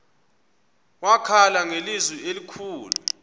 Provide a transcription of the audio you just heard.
wakhala ngelizwi elikhulu